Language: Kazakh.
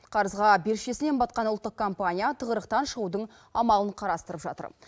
қарызға бершесінен батқан ұлттық компания тығырықтан шығудың амалын қарастырып жатыр